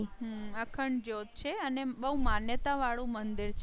અખંડ જ્યોત છે અને બહુ માન્યતા વાળું મંદિર છે.